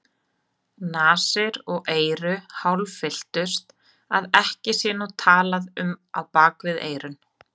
Nasir og eyru hálffylltust, að ekki sé nú talað um á bak við eyrun.